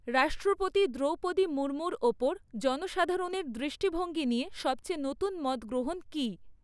রাষ্ট্রপতি দ্রৌপদী মুর্মুর ওপর জনসাধারণের দৃষ্টিভঙ্গি নিয়ে সবচেয়ে নতুন মতগ্রহণ কী?